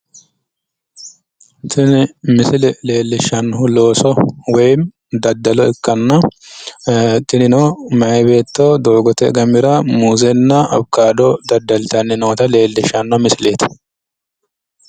Tini misile leellishshannohu looso woyim daddalo ikkanna, tinino meyaa beetto doogote gamira muuzenna awukaato daddaltanni noota leellishshanno misileeti.